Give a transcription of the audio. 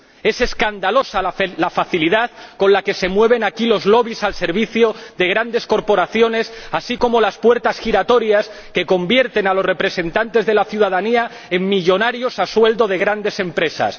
Es escandalosa la facilidad con la que se mueven aquí los lobbies al servicio de grandes corporaciones, así como las puertas giratorias que convierten a los representantes de la ciudadanía en millonarios a sueldo de grandes empresas.